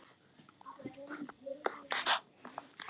Við bíðum eftir henni